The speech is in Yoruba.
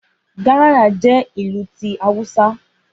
Garaya jẹ́ ìlù ti Awúsá